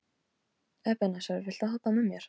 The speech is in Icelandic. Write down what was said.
Ebeneser, viltu hoppa með mér?